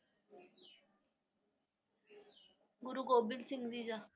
ਗੁਰੂ Gobind Singh ji ਦਾ।